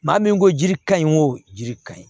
Maa min ko jiri ka ɲi o jiri ka ɲi